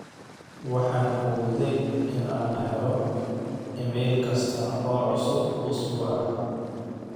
waxaan awooday in aan helo iimayl kasta oo cusub usbuuca